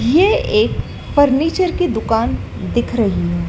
ये एक फर्नीचर की दुकान दिख रही है।